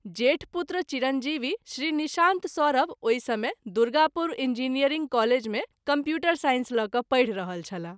जेठ पुत्र चिरंजीवी श्री निशांत सौरभ ओहि समय दुर्गापुर इंजीनियरिंग कॉलेज मे कंप्यूटर सांइस ल’ क’ पढि रहल छलाह।